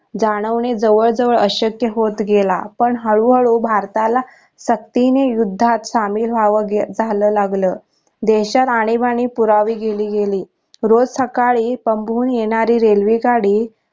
जाणवणे जवळ जवळ अशक्य होत गेला पण हळू हळू भारताला सक्तीने युद्धात शामिल व्हाव झाल लागल देशात आणीबाणी पुरवी गेली गेली रोज सकाळी पन्गुन येणारी railway गाडी